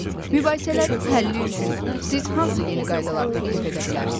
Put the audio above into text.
Mübahisələrin həlli üçün siz hansı yeni qaydalar təklif edə bilərsiniz?